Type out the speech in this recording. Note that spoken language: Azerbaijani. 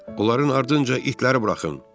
Onların ardınca itləri buraxın.